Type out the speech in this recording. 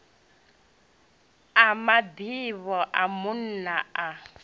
a mabebo a munna na